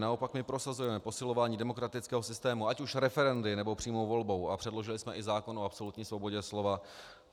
Naopak my prosazujeme posilování demokratického systému, ať už referendy, nebo přímou volbou, a předložili jsme i zákon o absolutní svobodě slova.